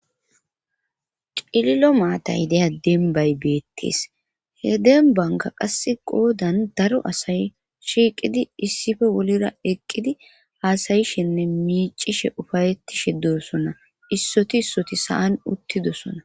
Cililo maatay deya denbay beettis he denbanka qasse goodan daro asay shiiqidi issippe bolira eqqidi haasayishinne miicishe ufayettishe de'ssonaa issoti issoti saan uttidosona